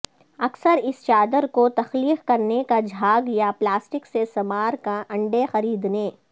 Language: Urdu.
اکثر اس چادر کو تخلیق کرنے کا جھاگ یا پلاسٹک سے سمارکا انڈے خریدنے